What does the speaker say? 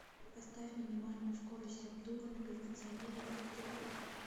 поставь минимальную скорость обдува на кондиционере в гардеробной